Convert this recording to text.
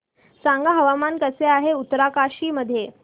सांगा हवामान कसे आहे उत्तरकाशी मध्ये